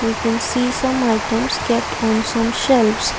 we can see some items kept on shelves.